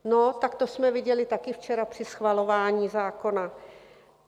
No, tak to jsme viděli také včera při schvalování zákona.